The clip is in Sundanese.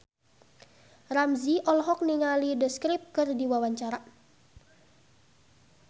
Ramzy olohok ningali The Script keur diwawancara